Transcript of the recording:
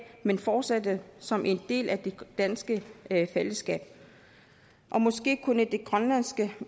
men fortsætte som en del af det danske fællesskab og måske kunne de grønlandske